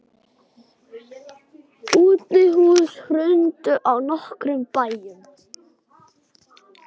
Útihús hrundu á nokkrum bæjum.